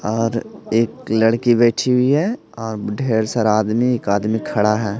और एक लड़की बैठी हुई है अ ढेर सारा आदमी एक आदमी खड़ा है।